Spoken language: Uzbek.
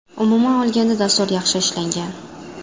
Umuman olganda, dastur yaxshi ishlangan.